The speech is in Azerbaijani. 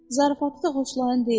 Zarafatı da xoşların deyil.